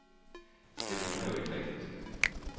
Det rimer jo ikke rigtigt.